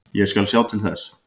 Ég skal sjá til þess.